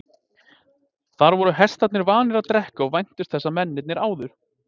Þar voru hestarnir vanir að drekka og væntu þess að mennirnir áðu.